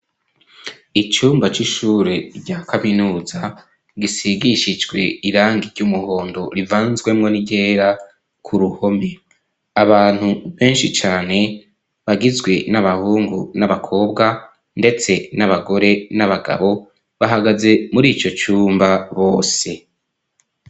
Icumba c'ishure rya kaminuza ,gisigishijwe irangi ry'umuhondo ,rivanzwemo n'iryera ku ruhome ,abantu benshi cane bagizwe n'abahungu n'abakobwa, ndetse n'abagore n'abagabo bahagaze muri ico cumba bose.